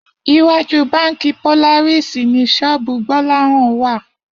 Iwájú báǹkì Polaris ni ṣọ́ọ̀bù Gbọ́láhàn wà